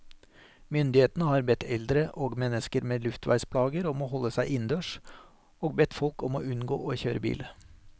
Myndighetene har bedt eldre og mennesker med luftveisplager om å holde seg innendørs, og bedt folk om å unngå å kjøre bil.